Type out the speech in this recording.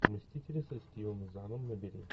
мстители со стивом заном набери